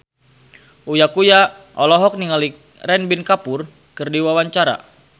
Uya Kuya olohok ningali Ranbir Kapoor keur diwawancara